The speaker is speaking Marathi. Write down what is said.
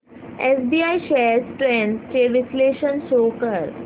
एसबीआय शेअर्स ट्रेंड्स चे विश्लेषण शो कर